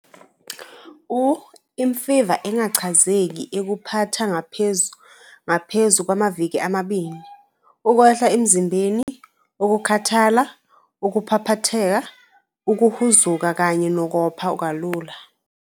U - Imfiva engachazeki ekuphatha ngaphezu kwamaviki amabili, ukwehla emzimbeni, ukukhathala, ukuphaphatheka, ukuhuzuka kanye nokopha kalula.